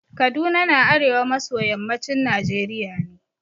Kaduna na arewa maso yammacin Najeriya ne.